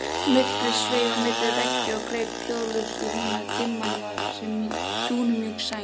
Myrkrið sveif á milli veggja og greip hljóðlaust í húna, dimman var sem dúnmjúk sæng.